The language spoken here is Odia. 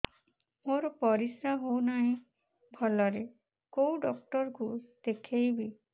ମୋର ପରିଶ୍ରା ହଉନାହିଁ ଭଲରେ କୋଉ ଡକ୍ଟର କୁ ଦେଖେଇବି